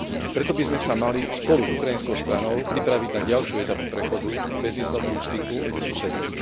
Preto by sme sa mali spolu s ukrajinskou stranou pripraviť na ďalšiu etapu prechodu k bezvízovému styku medzi susedmi.